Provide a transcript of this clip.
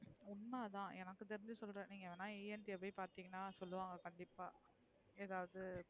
உண்மை அத எனக்கு தெரிஞ்சி சொல்றேன். நீங்க வேன்னுன ENT பாத்திங்கனா சொல்லுவாங்க கண்டிப்பா எதாவது